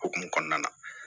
Okumu kɔnɔna na